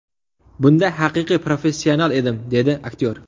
Bunda haqiqiy professional edim”, dedi aktyor.